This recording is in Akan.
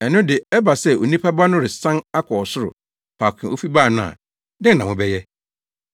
Ɛno de ɛba sɛ Onipa Ba no resan akɔ ɔsoro, faako a ofi bae no a, dɛn na mobɛyɛ?